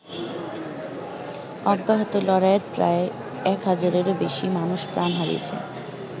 অব্যাহত লড়াইয়ে প্রায় এক হাজারেরও বেশি মানুষ প্রাণ হারিয়েছে।